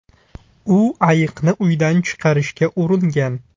U ayiqni uydan chiqarishga uringan.